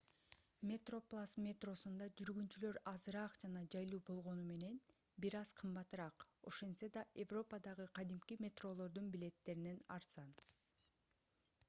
metroplus метросунда жүргүнчүлөр азыраак жана жайлуу болгону менен бир аз кымбатыраак ошентсе да европадагы кадимки метролордун билеттеринен арзан